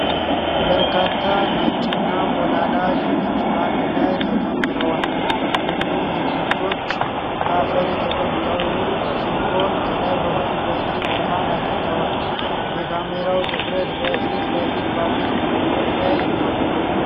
በርካታ ነጭና ሞላላ ድንች በአንድ ላይ ተከምረዋል። ሁሉም ድንቾች በአፈር የተበከሉ ሲሆኑ፣ ከላይ በኩል በቂ ብርሃን አግኝተዋል። የካሜራው ትኩረት በፊት ለፊት ባሉት ድንቾች ላይ ነው።